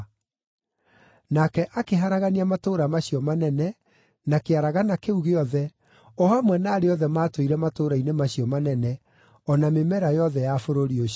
Nake akĩharagania matũũra macio manene, na kĩaragana kĩu gĩothe, o hamwe na arĩa othe maatũire matũũra-inĩ macio manene, o na mĩmera yothe ya bũrũri ũcio.